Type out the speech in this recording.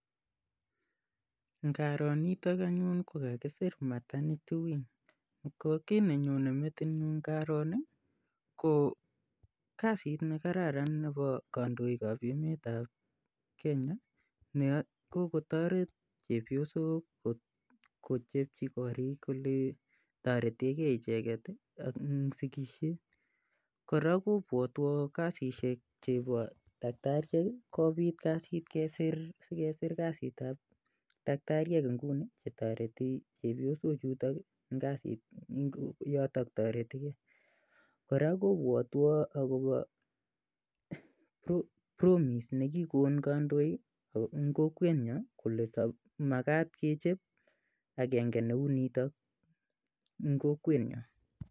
Ngaro nitok anyun kokakisir maternity wing ko kiit nenyonei metinyu ngaro ni ko kasit nekararan nebo kandoikab emetab Kenya ne kokotoret chepyosok kochepchi korik ole toretegei icheget ak sikishiet kora kobwotwo kasishek chebo dakitariek kobit kasit sikesir kasitab dakitariek nguni chetoreti chepyosochutok yotok toretikei kora kobwotwo akobo promise nekikon kandoik eng' kokwetnyo kole makat kechep agenge neu noto ing' kokwetyo